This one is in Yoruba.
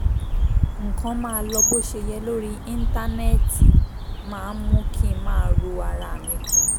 nǹkan máa lọ bó ṣe yẹ lórí íńtánẹ́ẹ̀tì máa ń mú kín máa ro ara re mi pin